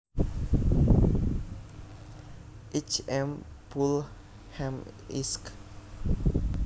H M Pulham Esq